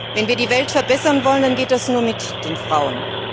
Wenn wir die Welt verbessern wollen, dann geht das nur mit den Frauen.